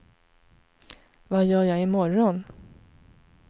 vad gör jag imorgon